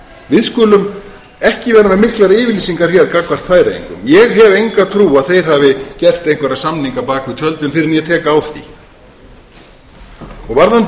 við skulum ekki vera með miklar yfirlýsingar hér gagnvart færeyingum ég hef enga trú á að þeir hafi gert einhverja samninga bak við tjöldin fyrr en ég tek á því varðandi